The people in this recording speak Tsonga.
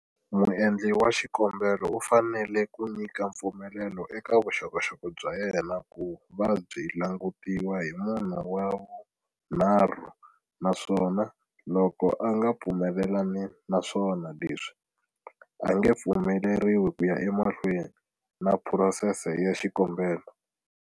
Muendli wa xikombelo u fanele ku nyika mpfumelelo eka vuxokoxoko bya yena ku va byi langutiwa hi munhu wa vu nharhu naswona loko a nga pfumelelani na swona leswi, a nge pfumeleriwi ku ya emahlweni na phurosese ya xikombelo.